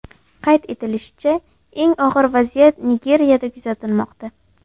Qayd etilishicha, eng og‘ir vaziyat Nigeriyada kuzatilmoqda.